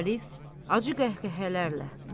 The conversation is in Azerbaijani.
Arif, acı qəhqəhələrlə.